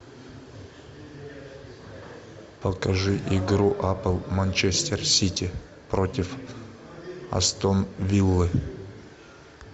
покажи игру апл манчестер сити против астон виллы